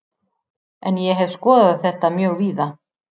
En ég hef skoðað þetta mjög víða.